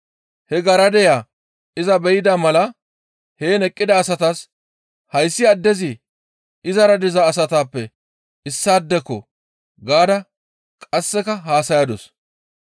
He garadeya iza be7ida mala heen eqqida asatas, «Hayssi addezi izara diza asatappe issaadeko!» gaada qasseka haasayadus.